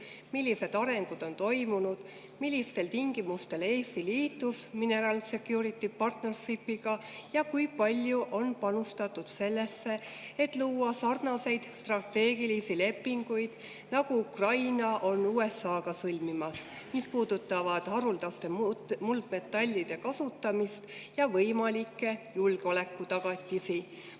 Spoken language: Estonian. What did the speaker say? Millised arengud on toimunud, millistel tingimustel Eesti liitus Minerals Security Partnership'iga ja kui palju on panustatud sellesse, et luua sarnaseid strateegilisi lepinguid, nagu Ukraina on USA‑ga sõlmimas, mis puudutavad haruldaste muldmetallide kasutamist ja võimalikke julgeolekutagatisi?